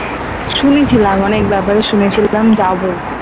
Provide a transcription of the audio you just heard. শুনেছিলাম অনেক ব্যাপারে শুনেছিলাম যাবো